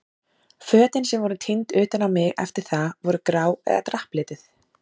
Fötin sem voru tínd utan á mig eftir það voru grá eða drapplituð.